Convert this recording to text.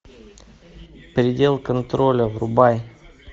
предел контроля врубай